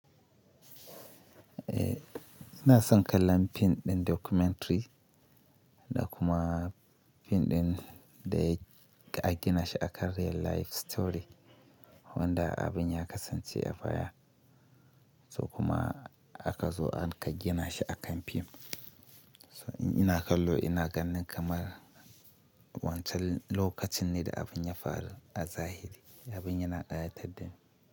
Eh, ina son kallon fim ɗin documentary da kuma fim ɗin da aka gina shi akan real life story, wanda abin ya kasance a baya, so kuma aka zo aka gina shi akan fim. Ina kallo ina ganin kamar wancan lokacin ne da abin ya faru a zahiri, abin yana ƙayatar da ni.